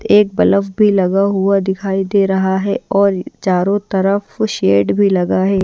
एक ब्लब भी लगा हुआ दिखाई दे रहा है और चारों तरफ शेड भी लगा है।